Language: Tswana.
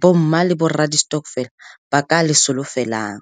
bo mma le borra di-stokvel ba ka le solofelang.